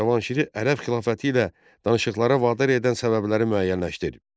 Cavanşiri ərəb xilafəti ilə danışıqlara vadar edən səbəbləri müəyyənləşdirin.